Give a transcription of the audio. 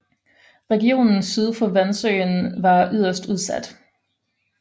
Regionen syd for Vansøen var yderst udsat